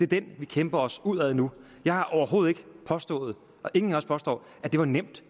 det er den vi kæmper os ud af nu jeg har overhovedet ikke påstået og ingen af os påstår at det var nemt